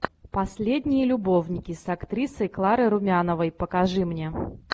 последние любовники с актрисой кларой румяновой покажи мне